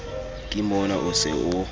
ke mona o se o